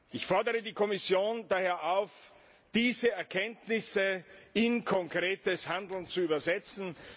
Ich fordere die Kommission daher auf, diese Erkenntnisse in konkretes Handeln umzusetzen.